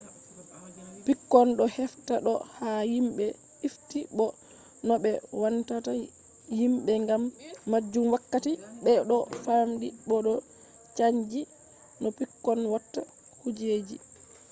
pikkon do hefta do ha himbe ifti bo no be wannata himbe gam majum wakkati be do famdi bo do chanji no pikkon watta kujeji